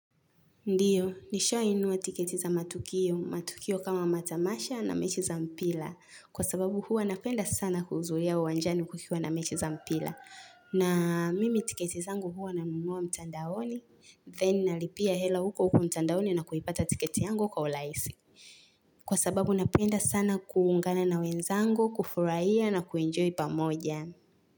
Ndio, nishawai nunua tiketi za matukio. Matukio kama matamasha na mechi za mpira. Kwa sababu huwa napenda sana kuhudhuria uwanjani kukiwa na mechi za mpira. Na mimi tiketi zangu huwa na nunua mtandaoni. Then nalipia hela huko huko mtandaoni na kuipata tiketi yangu kwa urahisi. Kwa sababu napenda sana kuungana na wenzangu, kufurahia na kuenjoy pamoja.